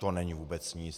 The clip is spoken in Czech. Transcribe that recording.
To není vůbec nic.